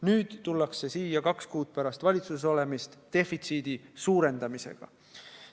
Nüüd tullakse siia, olles kaks kuud valitsuses olnud, defitsiidi suurendamisega.